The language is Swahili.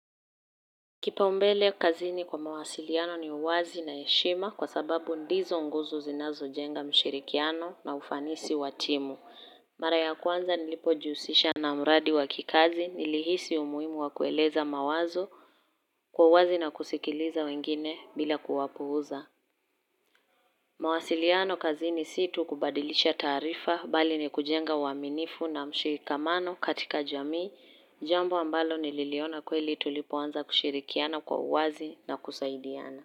Kipaumbele kazini kwa mawasiliano ni uwazi na heshima kwa sababu ndizo nguzo zinazojenga mshirikiano na ufanisi wa timu. Mara ya kwanza nilipojihusisha na mradi wakikazi nilihisi umuimu wa kueleza mawazo kwa uwazi na kusikiliza wengine bila kuwapuuza. Mawasiliano kazi ni si tu kubadilisha taarifa bali ni kujenga uaminifu na mshirikamano katika jamii jambo ambalo nililiona kweli tulipoanza kushirikiana kwa uwazi na kusaidiana.